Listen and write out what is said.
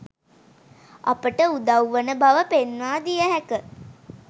අපට උදව්වන බව පෙන්වා දිය හැක